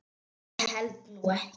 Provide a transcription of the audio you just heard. Ég held nú ekki.